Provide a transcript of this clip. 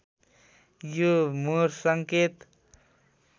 यो मोर्स सङ्केत